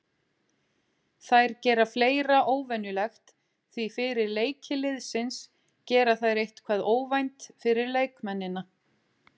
Þær gera fleira óvenjulegt því fyrir leiki liðsins gera þær eitthvað óvænt fyrir leikmennina.